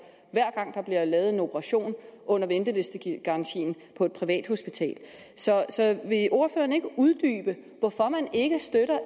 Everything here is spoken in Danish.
hver gang der bliver lavet en operation under ventelistegarantien på et privathospital så vil ordføreren ikke uddybe hvorfor man ikke støtter